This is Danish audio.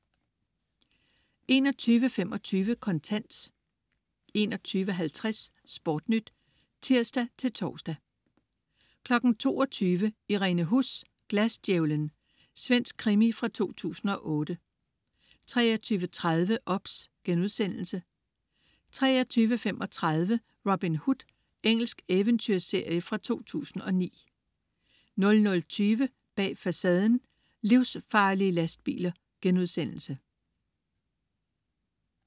21.25 Kontant 21.50 SportNyt (tirs-tors) 22.00 Irene Huss: Glasdjævlen. Svensk krimi fra 2008 23.30 OBS* 23.35 Robin Hood. Engelsk eventyrserie fra 2009 00.20 Bag Facaden: Livsfarlige lastbiler*